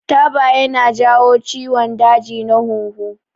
Taba ya na jawo ciwon daji na huhu